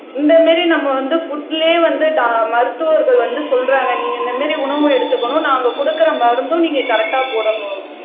இந்த மாதிரி நம்ம வந்து புட்லயே வந்து டா மருத்துவர்கள் வந்து சொல்றாங்க நீங்க இந்த மாதிரி உணவு எடுத்துக்கணும் நாங்க கொடுக்கிற மருந்தும் நீங்க கரெக்ட்டா போடணும்